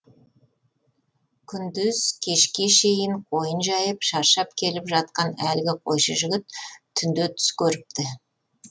күндіз кешке шейін қойын жайып шаршап келіп жатқан әлгі қойшы жігіт түнде түс көріпті